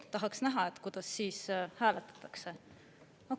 Tahaks näha, kuidas siis hääletatakse.